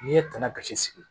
N'i ye tanan kasi sigi